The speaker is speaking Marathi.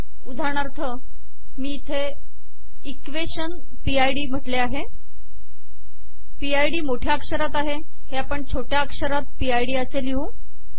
उदाहरणार्थ मी इथे इक्वेशन पिड म्हटले आहे पिड मोठ्या अक्षरात आहे हे आपण छोट्या अक्षरात पिड असे लिहू